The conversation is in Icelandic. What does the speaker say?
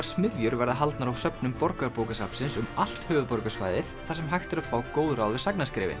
smiðjur verða haldnar á söfnum Borgarbókasafnsins um allt höfuðborgarsvæðið þar sem hægt er að fá góð ráð við